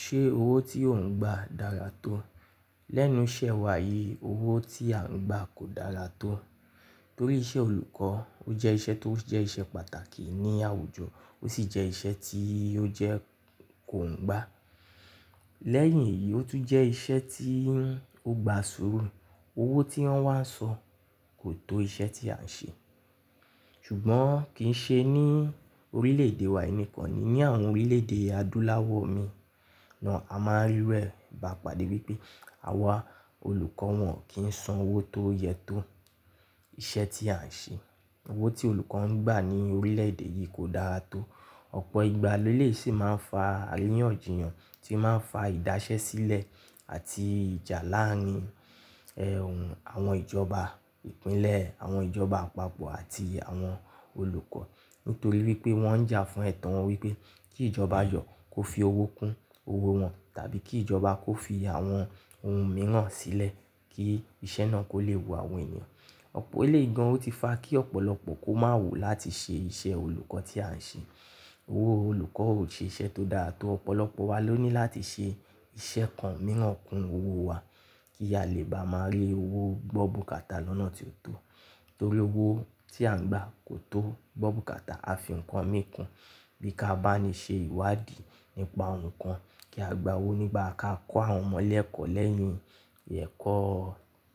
Ṣé owó tí ò ń gba dára tó? Lẹ́nu iṣẹ́ wa yìí, owó tí à ń gba kò dára tó. Torí iṣẹ́ olùkọ́, ó jẹ́ iṣẹ́ tó jẹ́ iṣẹ́ pàtàkì ní àwùjọ ó sì jẹ́ iṣẹ́ tí ó jẹ́ kò ń gba. Lẹ́yìn èyí, ó tún jẹ́ iṣẹ́ tí ń gba sùúrù. Owó tí wọ́n wá ń san kò tó iṣẹ́ tí à ń ṣe. Ṣùgbọ́n kì í ṣe ní orílẹ̀ èdè wa nìkan ni, ní àwọn orílẹ̀ èdè adúláwọ̀ mi náà, a máa ń rí rẹ̀ bá pàdé wípé àwa olùkọ́ wọn kìń san owó tó yẹ tó iṣẹ́ tí à ń ṣe. Owó tí olùkọ́ ń gba ní orílẹ̀ èdè yìí kò dára tó. Ọ̀pọ̀ ìgbà léléyìí sì máa ń fa àríyànjiyàn tí máa ń fa ìdásẹ́ sílẹ̀ àti ìjà láàárin, ẹ́hún, àwọn ìjọba ìpínlẹ̀, àwọn ìjọba àpapọ̀ àti àwọn olùkọ́. Nítorí wípé wọ́n ń jà fún ẹ̀tọ́ wọn wípé kí ìjọba jọ kó fi owó kún owó wọn tàbí kí ìjọba kó fi àwọn òun mìíràn sílẹ̀ kí iṣẹ́ náà kó lè wo àwọn ènìyàn. Ọ̀pọ̀ eléyìí gan ò ti fa kí ọ̀pọ̀lọpọ̀ kó má wù láti ṣe iṣẹ́ olùkọ́ tí à ń ṣe. Owó olùkọ́ ò ṣe iṣẹ́ tó dá tó. Ọ̀pọ̀lọpọ̀ wa ló ní láti ṣe iṣẹ́ kan mìíràn kún owó wa kí a lè bá máa rí owó gbọ́ bùkàtà lọ́nà tí ó tó. Torí owó tí à ń gba kò tó gbọ́ bùkàtà. A fín ǹkan mi kún bí ká bá ni ṣe ìwádìí nípa ǹkan kí a gba owó nígbà ká kọ́ àwọn ọmọ lẹ́ẹ̀kọ́ lẹ́yìn ẹ̀kọ́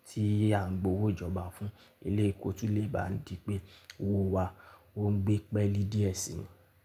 tí à ń gbowó ìjọba fún ilé ẹ̀kọ́ tún lè bá ń di pé owó wa ò ń gbé pẹ́ẹ́lì díẹ̀ sí.